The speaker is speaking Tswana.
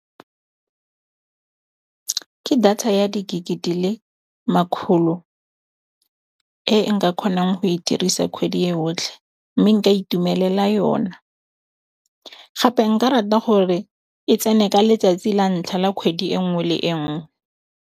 Ke data ya di gig-e di le makgolo e nka kgonang go e dirisa kgwedi e yotlhe mme nka itumelela yona. Gape nka rata gore e tsene ka letsatsi la ntlha la kgwedi e nngwe le e nngwe.